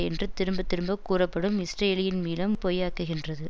என்று திரும்ப திரும்பக் கூறப்படும் இஸ்ரேலியின் மீளம் பொய்யாக்குகின்றது